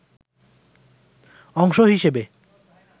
অংশ হিসেবে